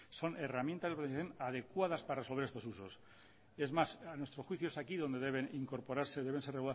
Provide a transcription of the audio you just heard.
son herramientas adecuadas para resolver estos usos es más a nuestro juicio es aquí donde deben incorporarse deben ser